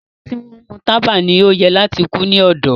Awọn ti nmu taba ni o yẹ lati ku ni ọdọ